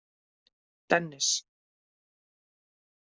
Dennis